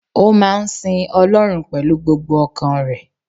Ó máa ń sin Ọlọ́run pẹ̀lú gbogbo ọkàn rẹ̀